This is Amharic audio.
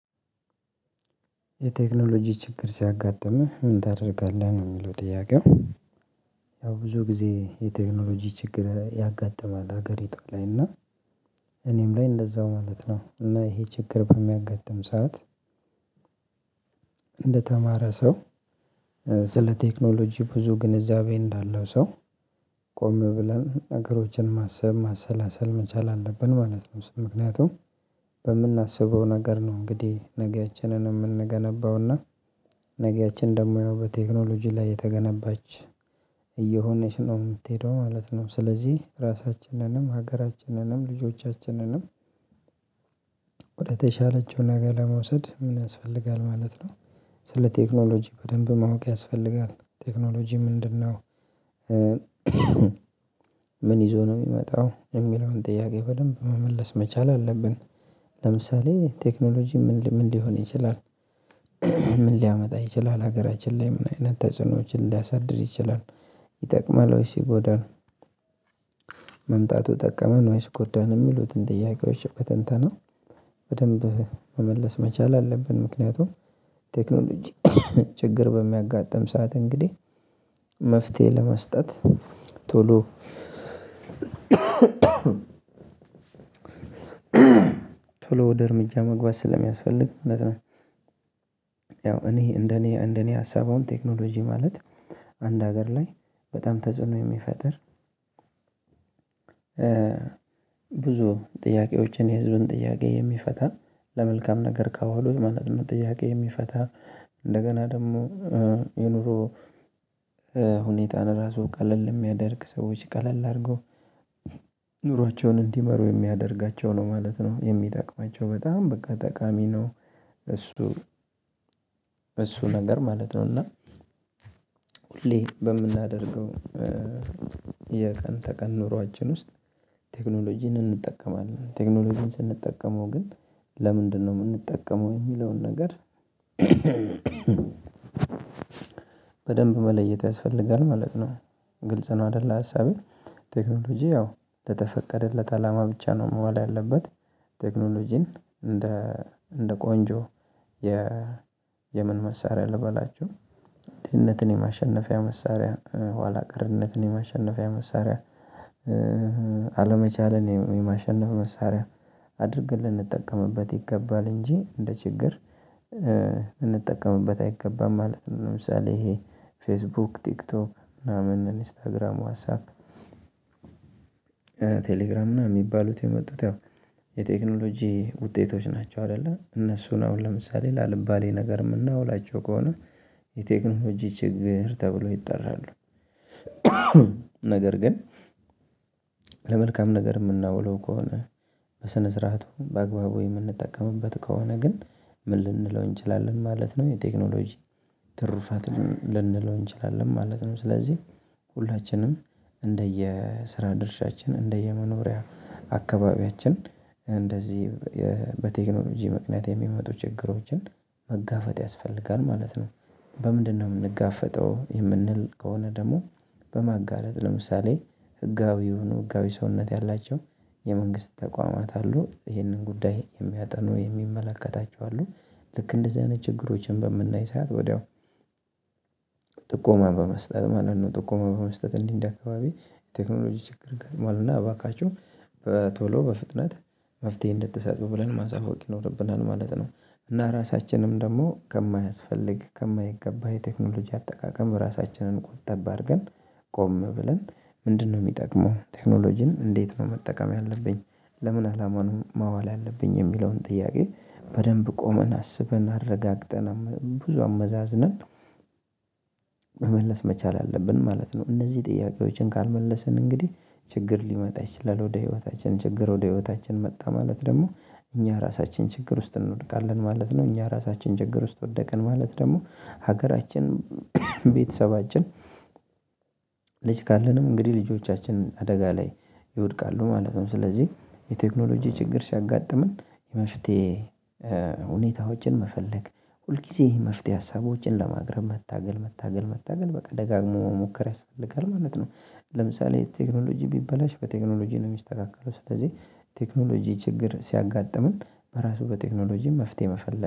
የቴክኖሎጂ ችግር ሲያጋጥምህ ምን ታደርጋለህ ነው የሚለው ጥያቄው? ያው ብዙ ጊዜ የቴክኖሎጂ ችግር ያጋጥማል ሀገሪቷ ላይ እና እኔም ላይ እንደዛው ማለት ነው እና ይሄ ችግር በሚያጋጥም ሰዓት እንደተማረ ሰው ስለ ቴክኖሎጂ ብዙ ግንዛቤ እንዳለው ሰው ቆሜ ብለን ነገሮችን ማሰብ ማሰላሰል መቻል አለብን ማለት ነው። ምክንያቱም በምናስበው ነገር ነው እንግዲህ ነገያችንን የምንገነባውና ነገያችን ደግሞ ያው በቴክኖሎጂ ላይ የተገነባች እየሆነች ነው የምትሄደው ማለት ነው። ስለዚህ ራሳችንንም ሀገራችንንም ልጆቻችንንም ወደተሻለችው ነገ ለመውሰድ ምን ያስፈልጋል ማለት ነው። ስለ ቴክኖሎጂ በደንብ ማወቅ ያስፈልጋል ቴክኖሎጂ ምንድነው? ምን ይዞ ነው የሚመጣው የሚለውን ጥያቄ በደንብ መመለስ መቻል አለብን። ለምሳሌ ቴክኖሎጂ ምን ሊሆን ይችላል? ምን ሊያመጣ ይችላል ሀገራችን ላይ ምን አይነት ተጽዕኖዎችን ሊያሳድር ይችላል? ይጠቅማል ሲጎዳን ጠቀመን ወይስ ጎዳን የሚሉትን ጥያቄዎች በተንተና በደንብ መመለስ መቻል አለብን። ምክንያቱም ቴክኖሎጂ ችግር በሚያጋጥም ሰዓት እንግዲህ መፍትሄ ለመስጠት ቶሎ ቶሎ ወደ እርምጃ መግባት ስለሚያስፈልግ ማለት ነው። ያው እኔ እንደኔ እንደኔ ሀሳብ አሁን ቴክኖሎጂ ማለት አንድ ሀገር ላይ በጣም ተጽዕኖ የሚፈጥር ብዙ ጥያቄዎችን የህዝብን ጥያቄ የሚፈታ ለመልካም ነገር ካወሉት ማለት ነው ጥያቄ የሚፈታ እንደገና ደግሞ የኑሮ ሁኔታን ራሱ ቀለል የሚያደርግ ሰዎች ቀለል አድርገው ኑሯቸውን እንዲመሩ የሚያደርጋቸው ነው ማለት ነው የሚጠቅማቸው በጣም በቃ ጠቃሚ ነው። እሱ እሱ ነገር ማለት ነው። እና ሁሌ በምናደርገው የቀን ተቀን ኑሯችን ውስጥ ቴክኖሎጂን እንጠቀማለን ቴክኖሎጂን ስንጠቀመው ግን ለምንድነው የምንጠቀመው የሚለውን ነገር በደንብ መለየት ያስፈልጋል ማለት ነው። ግልጽ ነው አይደለ ሀሳቤ። ቴክኖሎጂ ያው ለተፈቀደለት አላማ ብቻ ነው መዋል ያለበት። ቴክኖሎጂን እንደ እንደ ቆንጆ የ የምን መሳሪያ ልበላችሁ ድህነትን የማሸነፊያ መሳሪያ ኋላ ቀርነትን የማሸነፊያ መሳሪያ አለመቻለን የማሸነፍ መሳሪያ አድርገን ልንጠቀምበት ይገባል እንጂ እንደ ችግር እንጠቀምበት አይገባም ማለት ነው። ለምሳሌ ይሄ ፌስቡክ ቲክቶክ ምናምን ኢንስታግራም ዋትሳፕ ቴሌግራም ምናምን የሚባሉት የመጡት ያው የቴክኖሎጂ ውጤቶች ናቸው። አይደለ እነሱን አሁን ለምሳሌ ላልባሌ ነገር ምናውላቸው ከሆነ የቴክኖሎጂ ችግር ተብሎ ይጠራሉ። ነገር ግን ለመልካም ነገር የምናውለው ከሆነ በስነ ስርዓቱ በአግባቡ የምንጠቀምበት ከሆነ ግን ምን ልንለው እንችላለን ማለት ነው? የቴክኖሎጂ ትሩፋት ልንለው እንችላለን ማለት ነው። ስለዚህ ሁላችንም እንደየ ስራ ድርሻችን እንደየመኖሪያ አካባቢያችን እንደዚህ በቴክኖሎጂ ምክንያት የሚመጡ ችግሮችን መጋፈጥ ያስፈልጋል ማለት ነው። በምንድነው የምንጋፈጠው የምንል ከሆነ ደግሞ በማጋለጥ ለምሳሌ ህጋዊውን ህጋዊ ሰውነት ያላቸው የመንግስት ተቋማት አሉ ይህንን ጉዳይ የሚያጠኑ የሚመለከታቸው አሉ ልክ እንደዚህ አይነት ችግሮችን በምናይ ሰዓት ወዲያው ጥቆማ በመስጠት ማለት ነው ጥቆማ በመስጠት እንዲህ እንዲህ አካባቢ የቴክኖሎጂ ችግር ገጥሟል እና እባካችሁ በቶሎ በፍጥነት መፍትሄ እንድትሰጡ ብለን ማሳወቅ ይኖርብናል ማለት ነው። እና ራሳችንም ደግሞ ከማያስፈልግ ከማይገባ የቴክኖሎጂ አጠቃቀም ራሳችንን ቁጠብ አድርገን ቆም ብለን ምንድነው የሚጠቅመው ቴክኖሎጂን እንዴት ነው መጠቀም ያለብኝ? ለምን አላማ ነው ማዋል ያለብኝ? የሚለውን ጥያቄ በደንብ ቆመን አስበን አረጋግጠን ብዙ አመዛዝነን መመለስ መቻል አለብን ማለት ነው። እነዚህ ጥያቄዎችን ካልመለስን እንግዲህ ችግር ሊመጣ ይችላል ወደ ህይወታችን ችግር ወደ ህይወታችን መጣ ማለት ደግሞ እኛ ራሳችን ችግር ውስጥ እንወድቃለን ማለት ነው። እኛ ራሳችን ችግር ውስጥ ወደቅን ማለት ደግሞ ሀገራችን ቤተሰባችን ልጅ ካለንም እንግዲህ ልጆቻችንን አደጋ ላይ ይወድቃሉ ማለት ነው። ስለዚህ የቴክኖሎጂ ችግር ሲያጋጥምን የመፍትሄ ሁኔታዎችን መፈለግ ሁልጊዜ መፍትሄ ሀሳቦችን ለማግረም መታገል መታገል መታገል በቃ ደጋግሞ መሞከር ያስፈልጋል ማለት ነው። ለምሳሌ ቴክኖሎጂ ቢበላሽ በቴክኖሎጂ ነው የሚስተካከለው ስለዚህ ቴክኖሎጂ ችግር ሲያጋጥምን በራሱ በቴክኖሎጂ መፍትሄ መፈለግ